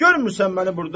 Görmürsən məni burda?